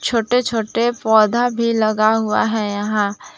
छोटे छोटे पौधा भी लगा हुआ है यहां--